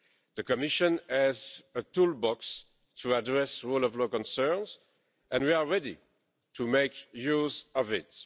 The Commission has a toolbox to address rule of law concerns and we are ready to make use of it.